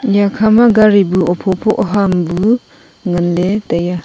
iya kha ma gari pu hupho pho ham bu ngan le tai a.